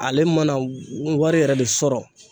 Ale mana wari yɛrɛ de sɔrɔ